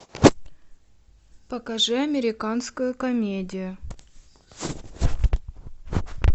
покажи американскую комедию